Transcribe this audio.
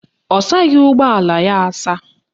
Ọ saghị ụgbọala ya asa